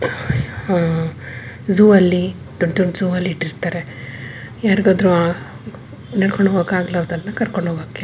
ಆಹ್ಹ್ zoo ಅಲ್ಲಿ ದೊಡ್ಡ ದೊಡ್ಡ ಜೂ ಅಲ್ಲಿ ಇಟ್ಟಿರ್ತಾರೆ. ಯಾರ್ಗಾದ್ರು ನಡ್ಕೊಂಡು ಹೋಗಾಕ್ ಆಗ್ಲರ್ದವ್ರನ್ನ ಕರ್ಕೊಂಡ್ ಹೋಗಕ್ಕೆ.